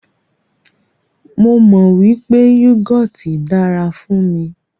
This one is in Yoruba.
Mó mọ wípé yúgọọ́ti dára fún mí.